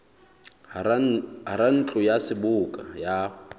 hara ntlo ya seboka ya